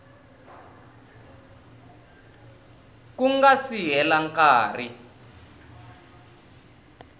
ku nga si hela nkarhi